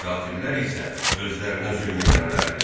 Kafirlər isə özlərinə zülm edənlərdir.